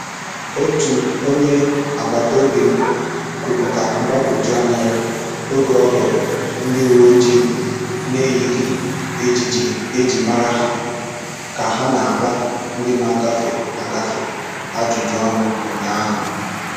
Otu onye agbata obi m kwuputara mgbagwoju anya ya oge ọ hụrụ ndi uwe ojii na-eyighị ejiji e ji mara ha ka ha na-agba ndị na-agafe, agafe ajụjụ ọnụ ụnyaahụ.